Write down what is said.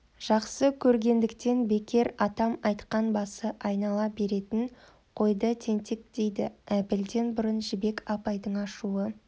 жақсы көргендіктен бекер атам айтқан басы айнала беретін қойды тентек дейді әбілден бұрын жібек апайдың ашулы